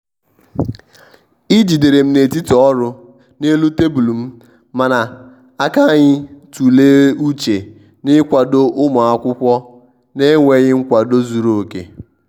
ị jiderem n'etiti ọrū n'elu tebụlụ m mana aka anyi tụle ụche n'ikwado ụmụakwọkwụ n'enwetaghi nkwado zuru oke.